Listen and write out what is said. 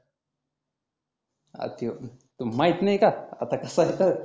हा त्यो तु माहीत नाही का? आता कसा असता